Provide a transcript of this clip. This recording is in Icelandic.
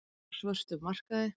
Kexkökur á svörtum markaði